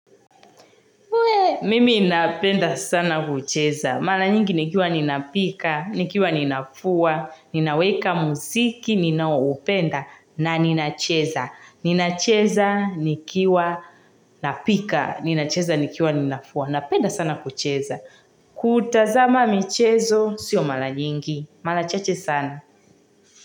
Mimi inapenda sana kucheza. Mala nyingi nikiwa ninapika, nikiwa ninafua, ninaweka musiki, ninaopenda, na ninacheza. Ninacheza, nikiwa, napika, ninacheza, nikiwa, ninafua. Napenda sana kucheza. Kutazama michezo, sio mala nyingi. Mala chache sana.